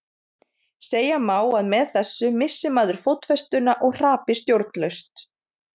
Segja má að með þessu missi maður fótfestuna og hrapi stjórnlaust.